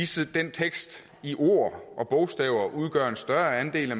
så den tekst i ord og bogstaver udgør en større andel af